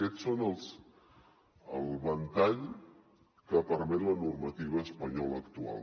aquests és el ventall que permet la normativa espanyola actual